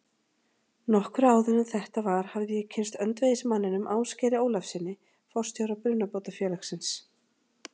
Nokkru áður en þetta var hafði ég kynnst öndvegismanninum, Ásgeiri Ólafssyni, forstjóra Brunabótafélagsins.